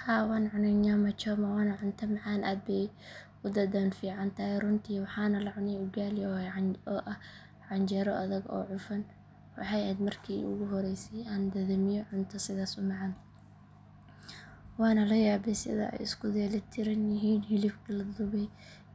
Haa waan cunay nyamachoma waana cunto macaan aad bay u dhadhan fiican tahay runtii waxaan la cunay ugali oo ah canjeero adag oo cufan waxay ahayd markii ugu horreysay aan dhadhamiyo cunto sidaas u macaan waana la yaabay sida ay isku dheelitiran yihiin hilibka la dubay